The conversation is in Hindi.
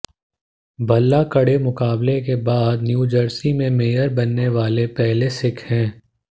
भल्ला कड़े मुकाबले के बाद न्यूजर्सी में मेयर बनने वाले पहले सिख हैं